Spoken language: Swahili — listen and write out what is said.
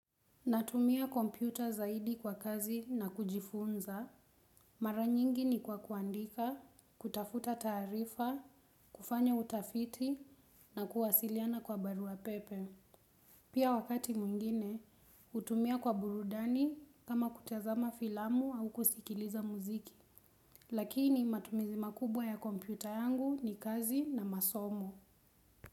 Natumia kompyuta zaidi kwa kazi na kujifunza. Mara nyingi ni kwa kuandika, kutafuta tarifa, kufanya utafiti na kuwasiliana kwa barua pepe. Pia wakati mwingine, hutumia kwa burudani kama kutazama filamu au kusikiliza muziki. Lakini matumizi makubwa ya kompyuta yangu ni kazi na masomo.